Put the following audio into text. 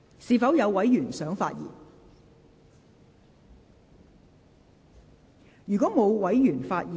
是否有委員想發言？